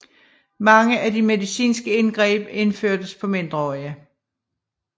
Mange af de medicinske indgreb udførtes på mindreårige